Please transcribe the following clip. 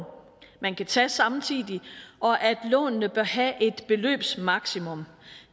man kan tage samtidig og at lånene bør have et beløbsmaksimum